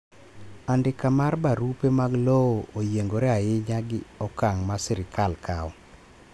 andika mar barupe mag lowo oyiengore ainya gi okang ma sirkal kawo